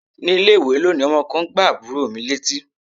Ní ilé-ìwé lónìí, ọmọ kan gbá àbúrò mi létí.